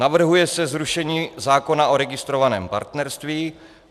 Navrhuje se zrušení zákona o registrovaném partnerství.